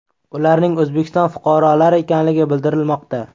Ularning O‘zbekiston fuqarolari ekanligi bildirilmoqda .